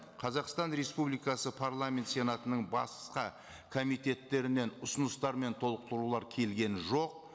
қазақстан республикасы парламент сенатының басқа комитеттерінен ұсыныстар мен толықтырулар келген жоқ